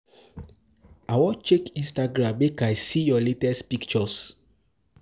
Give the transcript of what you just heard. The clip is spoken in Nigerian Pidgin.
I wan check Instagram, make I see your latest pictures.